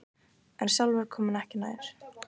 En sjálfur kom hann ekki nær.